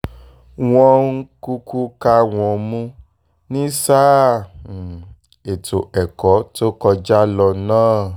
wọ́n um kúkú ká wọn mú ní sáà um ètò ẹ̀kọ́ tó kọjá lọ náà